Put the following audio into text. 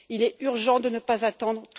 Il est urgent de ne pas attendre.